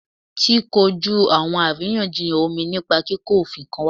Ti koju awọn ariyanjiyan omi nipa kiko ofin kan wa